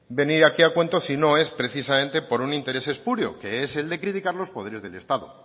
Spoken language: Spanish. venir aquí a cuento si no es precisamente por un interés espurio que es el de criticar los poderes del estado